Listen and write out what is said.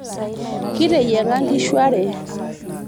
kiteyiang'a nkishu are